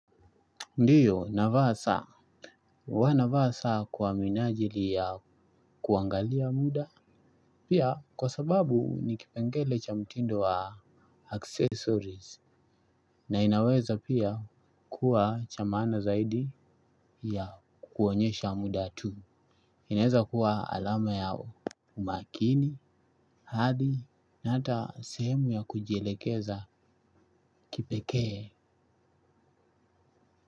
Ndio, navaa saa, huwa navaa saa kwa minajili ya kuangalia muda, pia kwa sababu ni kipengele cha mtindo wa accessories, na inaweza pia kuwa cha maana zaidi ya kuonyesha muda tu. Inaeza kuwa alama ya umakini, hadhi, na hata sehemu ya kujielekeza kipekee.